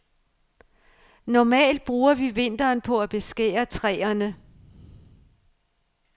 Normalt bruger vi vinteren på at beskære træerne.